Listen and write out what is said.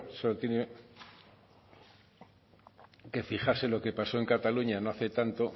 solo tiene que fijarse lo que pasó en cataluña no hace tanto